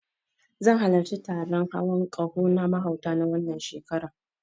Zan halarci taron hawon ƙaho na mahauta, na wannan shekarar.